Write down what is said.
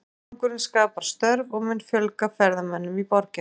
Leikvangurinn skapar störf og mun fjölga ferðamönnum í borginni.